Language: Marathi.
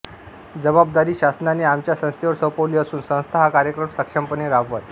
जबाबदारी शासनाने आमच्या संस्थेवर सोपवलेली असून संस्था हा कार्यक्रम सक्षमपणे राबवत